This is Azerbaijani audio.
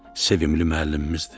Sevimli müəllimimizdir.